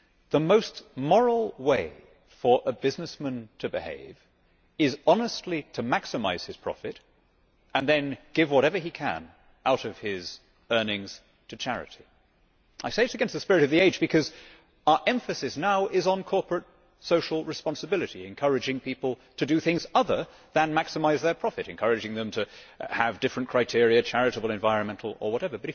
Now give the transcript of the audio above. The most moral way for a businessman to behave is honestly to maximise his profit and then give whatever he can out of his earnings to charity. I say that it is against the spirit of the age, because our emphasis now is on corporate social responsibility, encouraging people to do things other than maximise their profit encourage them to have different criteria charitable, environmental or whatever.